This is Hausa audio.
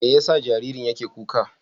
Me yasa jaririn yake kuka?